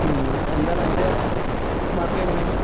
മ്, എന്താണ് ? അന്റെ മാർക്ക് എങ്ങനെയാ?